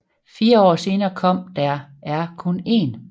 Fire år senere kom Der er kun en